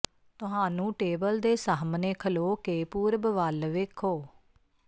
ਤੁਹਾਨੂੰ ਟੇਬਲ ਦੇ ਸਾਹਮਣੇ ਖਲੋ ਕੇ ਪੂਰਬ ਵੱਲ ਵੇਖੋ